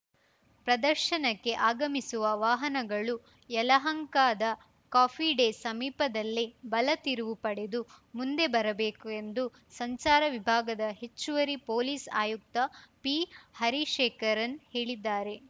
ಪ್ರದರ್ಶನಕ್ಕೆ ಆಗಮಿಸುವ ವಾಹನಗಳು ಯಲಹಂಕದ ಕಾಫಿ ಡೇ ಸಮೀಪದಲ್ಲೇ ಬಲ ತಿರುವು ಪಡೆದು ಮುಂದೆ ಬರಬೇಕು ಎಂದು ಸಂಚಾರ ವಿಭಾಗದ ಹೆಚ್ಚುವರಿ ಪೊಲೀಸ್‌ ಆಯುಕ್ತ ಪಿ ಹರಿಶೇಖರನ್‌ ಹೇಳಿದ್ದಾರೆ